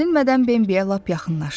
Gözlənilmədən Bambiyə lap yaxınlaşdı.